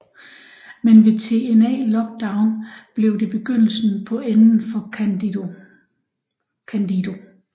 Men ved TNA Lockdown blev det begyndelsen på enden for Candido